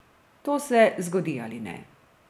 To se zgodi ali ne.